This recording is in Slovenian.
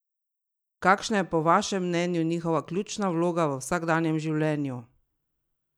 Kakšna je po vašem mnenju njihova ključna vloga v vsakdanjem življenju?